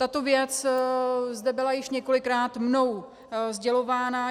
Tato věc zde byla již několikrát mnou sdělována.